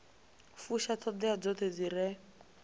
fusha ṱhoḓea dzoṱhe dzi re